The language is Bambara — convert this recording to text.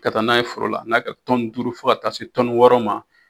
Ka taa n'a ye foro la na ka duuru fo ka taa se wɔɔrɔ ma.